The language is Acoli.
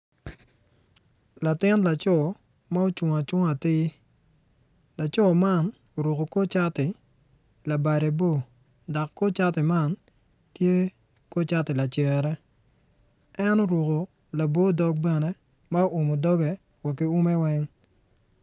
Latin laco ma ocung cunga atii laco man oruko kor cati labade bor dok kor cati man tye ko cati lacere en oruko labo dog bene ma oumo doge wa ki ume weng